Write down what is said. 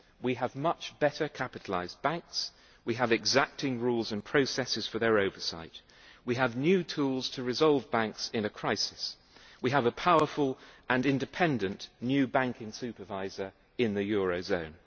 We have much better capitalised banks, we have exacting rules and processes for their oversight, we have new tools to resolve banks in a crisis, and we have a powerful and independent new banking supervisor in the eurozone.